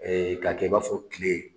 k'a kɛ i b'a fɔ tile.